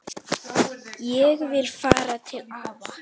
Ég vil fara til afa